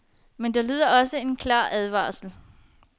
Men der lyder også en klar advarsel.